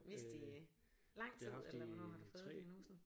Vidst i lang tid eller hvornår har du fået diagnosen